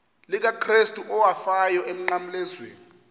likakrestu owafayo emnqamlezweni